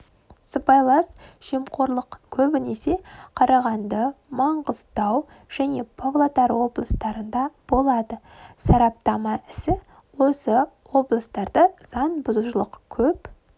сыбайлас жемқорлық көбінесе қарағанды маңғыстау және павлодар облыстарында болады сараптама ісі осы облыстарда заң бұзушылық көп